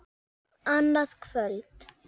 Annað kvöld.